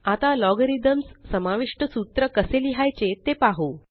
आता लॉगरिथम्स समाविष्ट सूत्र कसे लिहायचे ते पाहु